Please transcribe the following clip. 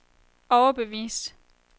overbevist